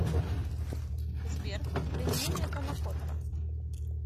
сбер применение панакотта